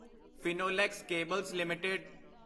Finolex cables LTD